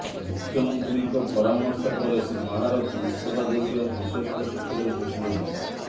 ମୁଖ୍ୟମନ୍ତ୍ରୀଙ୍କ ପରାମର୍ଶ ପରେ ଶ୍ରୀ ମହାରଥୀ ଇସ୍ତଫା ଦେଇଥିବା ବିଶ୍ବସ୍ତ ସୂତ୍ରରୁ ସୂଚନା ମିଳିଛି